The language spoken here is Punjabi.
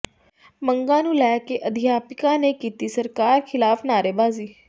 ਮੰਗਾਂ ਨੂੰ ਲੈ ਕੇ ਅਧਿਆਪਕਾਂ ਨੇ ਕੀਤੀ ਸਰਕਾਰ ਿਖ਼ਲਾਫ਼ ਨਆਰੇਬਾਜ਼ੀ